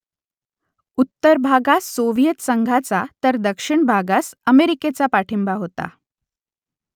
उत्तर भागास सोव्हियेत संघाचा तर दक्षिण भागास अमेरिकेचा पाठिंबा होता